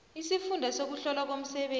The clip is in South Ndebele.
isifunda sokuhlolwa komsebenzi